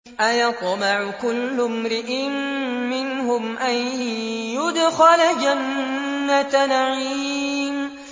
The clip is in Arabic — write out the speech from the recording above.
أَيَطْمَعُ كُلُّ امْرِئٍ مِّنْهُمْ أَن يُدْخَلَ جَنَّةَ نَعِيمٍ